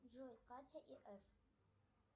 джой катя и эф